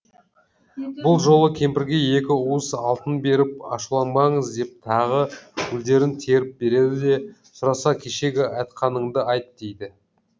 бұл жолы кемпірге екі уыс алтын беріп ашуланбаңыз деп тағы гүлдерін теріп береді де сұраса кешегі айтқаныңды айт дейді